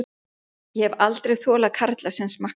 Ég hef aldrei þolað karla sem smakka.